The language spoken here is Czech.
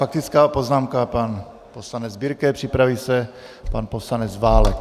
Faktická poznámka, pan poslanec Birke, připraví se pan poslanec Válek.